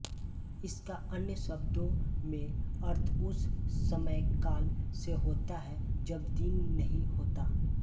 इसका अन्य शब्दों में अर्थ उस समयकाल से होता है जब दिन नहीं होता